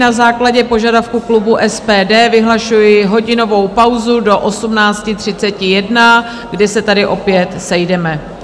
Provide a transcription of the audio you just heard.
Na základě požadavku klubu SPD vyhlašuji hodinovou pauzu do 18.31, kdy se tady opět sejdeme.